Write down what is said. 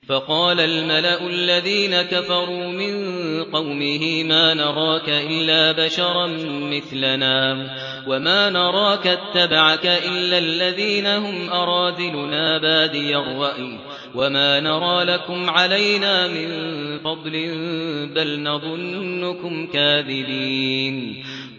فَقَالَ الْمَلَأُ الَّذِينَ كَفَرُوا مِن قَوْمِهِ مَا نَرَاكَ إِلَّا بَشَرًا مِّثْلَنَا وَمَا نَرَاكَ اتَّبَعَكَ إِلَّا الَّذِينَ هُمْ أَرَاذِلُنَا بَادِيَ الرَّأْيِ وَمَا نَرَىٰ لَكُمْ عَلَيْنَا مِن فَضْلٍ بَلْ نَظُنُّكُمْ كَاذِبِينَ